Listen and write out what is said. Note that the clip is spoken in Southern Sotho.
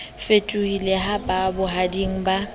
fetohile ha ba bohading ba